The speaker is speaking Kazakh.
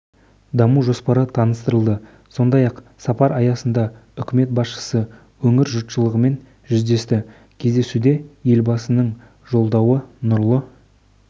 даму жоспары таныстырылды сондай-ақ сапары аясында үкімет басшысы өңір жұртшылығымен жүздесті кездесуде елбасының жолдауы нұрлы